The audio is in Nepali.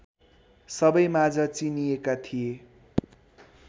सबैमाझ चिनिएका थिए